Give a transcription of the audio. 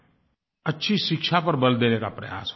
अच्छी शिक्षा पर बल देने का प्रयास हो रहा है